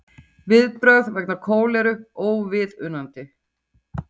Viðbrögð vegna kóleru óviðunandi